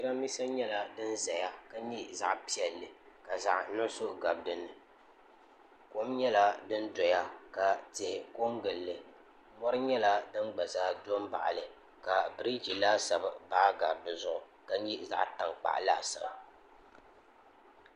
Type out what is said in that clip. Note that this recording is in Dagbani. jiranbiisa nyɛla din ʒɛya ka nyɛ zaɣ piɛlli ka zaɣ nuɣso gabi dinni kom nyɛla din doya ka tihi kɔ n gilli mori nyɛla din gba zaa do n baɣali ka biriji laasabu baa gari dizuɣu ka nyɛ zaɣ tankpaɣu laasabu